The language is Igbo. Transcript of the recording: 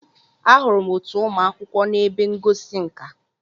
Ahụrụ m otu ụmụ akwụkwọ na ebe ngosi nka.